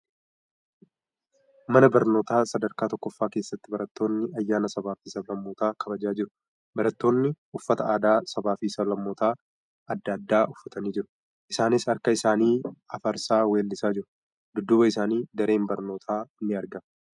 Mana barnootaa sadarkaa tokkoffaa keessatti barattoonni ayyaana sabaa fi sablammootaa kabajaa jiru. Baratoonni uffata aadaa sabaa fi sablammootaa adda addaa uffatanii jiru. Isaanis harka isaanii hafarsaa weellisaa jiru. Dudduuba isaanii dareen barnootaa ni argama.